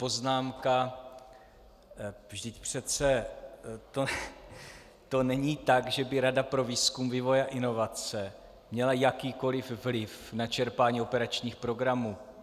Poznámka: vždyť přece to není tak, že by Rada pro výzkum, vývoj a inovace měla jakýkoli vliv na čerpání operačních programů.